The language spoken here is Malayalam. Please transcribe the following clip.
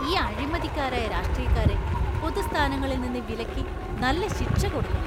ഈ അഴിമതിക്കാരായ രാഷ്ട്രീയക്കാരെ പൊതു സ്ഥാനങ്ങളിൽ നിന്ന് വിലക്കി നല്ല ശിക്ഷ കൊടുക്കണം .